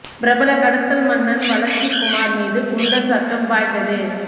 பிரபல கடத்தல் மன்னன் வளத்திக்குமார் மீது குண்டர் சட்டம் பாய்ந்தது